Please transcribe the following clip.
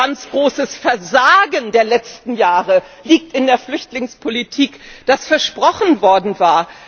Aber ein ganz großes Versagen der letzten Jahre liegt in der Flüchtlingspolitik, die versprochen worden war.